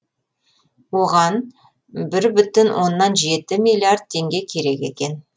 оған бір бүтін оннан жеті миллиард теңге керек екен